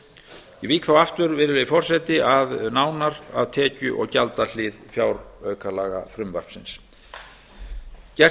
ég vík þá aftur virðulegi forseti nánar að tekju og gjaldahlið fjáraukalagafrumvarpsins gert